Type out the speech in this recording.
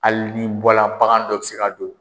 Hali n'i bɔra, bagan dɔ bɛ se ka don.